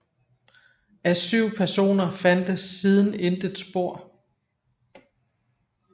Af 7 personer fandtes siden intet spor